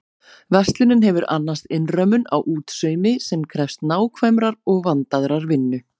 Verslunin hefur annast innrömmun á útsaumi sem krefst nákvæmrar og vandaðrar vinnu.